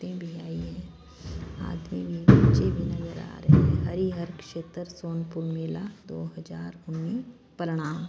आदमी भी बच्चे भी नजर आ रहे है हरि हर क्षेत्र सोनपुर मेला दो हजार उनीस परनाम--